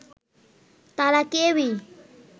তারা কেউই